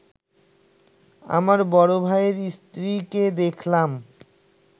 আমার বড় ভাইয়ের স্ত্রীকে দেখলাম